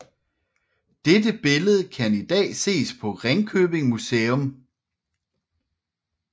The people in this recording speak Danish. Dette billede kan i dag ses på Ringkøbing Museum